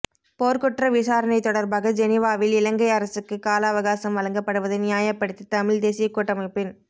போர்க்குற்ற விசாரணை தொடர்பாக ஜெனிவாவில் இலங்கை அரசுக்கு காலஅவகாசம் வழங்கப்படுவதை நியாயப்படுத்தி தமிழ்த் தேசியக் கூட்டமைப்பின்